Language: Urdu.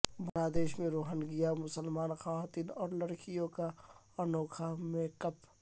بنگلہ دیش میں روہنگیا مسلمان خواتین اور لڑکیوں کا انوکھا میک اپ